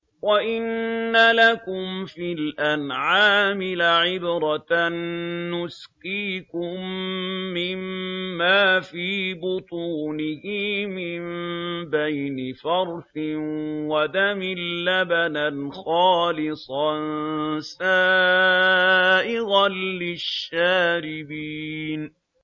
وَإِنَّ لَكُمْ فِي الْأَنْعَامِ لَعِبْرَةً ۖ نُّسْقِيكُم مِّمَّا فِي بُطُونِهِ مِن بَيْنِ فَرْثٍ وَدَمٍ لَّبَنًا خَالِصًا سَائِغًا لِّلشَّارِبِينَ